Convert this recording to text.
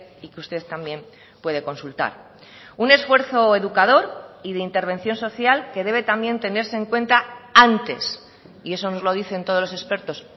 y que usted también puede consultar un esfuerzo educador y de intervención social que debe también tenerse en cuenta antes y eso nos lo dicen todos los expertos